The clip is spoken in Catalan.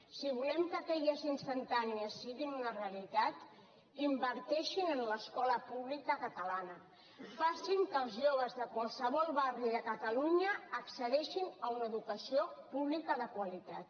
si volem que aquelles instantànies siguin una realitat inverteixin en l’escola pública catalana facin que els joves de qualsevol barri de catalunya accedeixin a una educació pública de qualitat